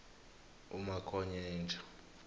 umakhonyeja